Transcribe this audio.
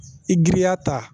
I giriya ta